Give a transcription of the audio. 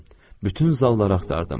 Bütün zalları axtardım.